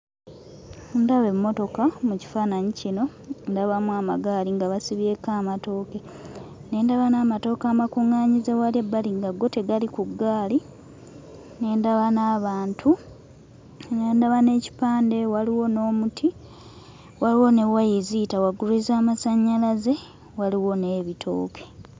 Ndaba emmotoka mu kifaananyi kino, ndabamu amagaali nga basibyeko amatooke, ne ndaba n'amatooke amakuŋŋaanyize wali ebbali nga go tegali ku ggaali, ne ndaba n'abantu, ne ndaba n'ekipande, waliwo n'omuti, waliwo ne waya eziyita waggulu ez'amasannyalaze, waliwo n'ebitooke.